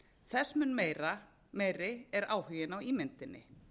þess mun meiri r áhuginn á ímyndinni